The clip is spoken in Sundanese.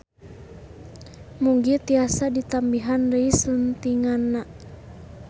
Mugi tiasa ditambihan deui suntinganna.